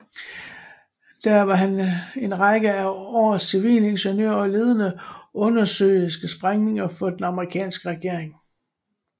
Der var han en række af år civilingeniør og ledede undersøiske sprængninger for den amerikanske regering